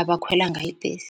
abakhwela ngayo ibhesi.